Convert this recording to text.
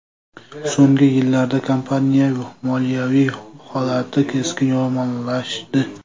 So‘nggi yillarda kompaniya moliyaviy holati keskin yomonlashdi.